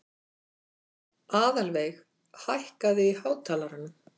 Aðalveig, hækkaðu í hátalaranum.